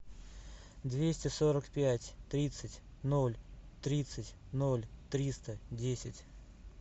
двести сорок пять тридцать ноль тридцать ноль триста десять